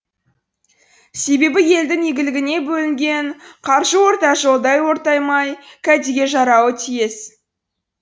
себебі елдің игілігіне бөлінген қаржы орта жолдай ортаймай кәдеге жарауы тиіс